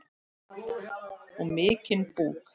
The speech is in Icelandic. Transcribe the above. Og mikinn búk.